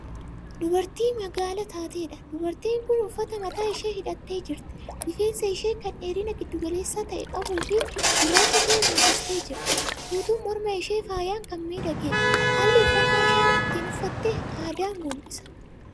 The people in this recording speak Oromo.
Dubartii magaala taatedha. dubartiin Kun uffataan mataa ishee hidhattee jirti. rifeensa ishee Kan dheerina giddu-galeessa ta'e qabuufi gurraacha ta'e mul'istee jirti. guutuun morma ishee faayaan Kan miidhageedha. haalli uffannaa isheen ittin uffatte aadaa mul'isa.